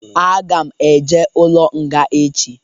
Aga m eje ụlọ nga echi